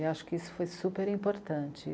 E acho que isso foi super importante.